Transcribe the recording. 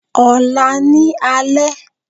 Ọ̀la ní alẹ́